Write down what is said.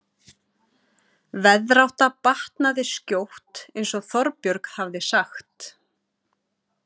Veðrátta batnaði skjótt eins og Þorbjörg hafði sagt.